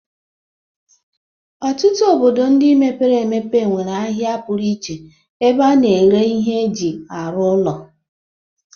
Ọtụtụ obodo ndị mepere emepe nwere ahịa pụrụ iche ebe a na-ere ihe eji arụ ụlọ.